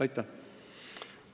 Aitäh!